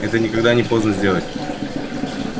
это никогда не поздно сделать